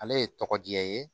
Ale ye tɔgɔ diya ye